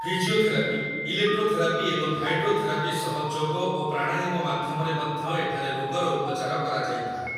Physiotherapy, electrotherapy ଏବଂ hydrotherapy ସହ ଯୋଗ ଓ ପ୍ରାଣାୟାମ ମାଧ୍ୟମରେ ମଧ୍ୟ ଏଠାରେ ରୋଗର ଉପଚାର କରାଯାଇଥାଏ।